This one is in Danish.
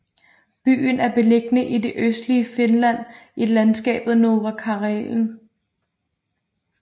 Byen er beliggende i det østlige Finland i landskabet Norra Karelen